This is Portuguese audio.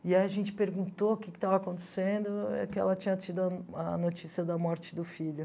E aí a gente perguntou o que que estava acontecendo, e ela tinha tido a notícia da morte do filho.